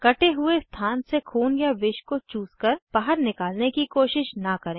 कटे हुए स्थान से खून या विष को चूसकर बाहर निकालने की कोशिश न करें